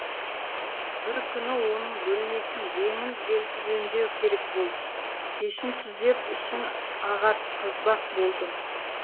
бір күні оның бөлмесін жеңіл желпі жөндеу керек болды пешін түзеп ішін ағартқызбақ болдым